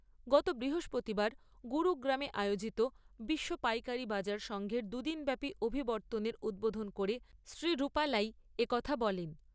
গত বৃহস্পতিবার গুরুগ্রামে আয়োজিত বিশ্ব পাইকারী বাজার সঙ্ঘের দুদিনব্যাপী অভিবর্তনের উদ্বোধন করে শ্রী রুপালাই একথা বলেন।